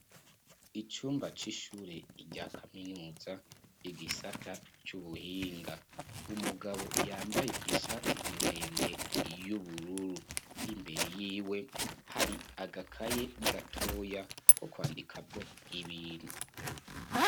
Icumba c'ishure, rya kaminuza, igisata c'ubuhinga; umugabo, yambaye ishati ndende, y'ubururu; imbere yiwe, hari agakaye gatoya, ko kwandikamwo ibintu.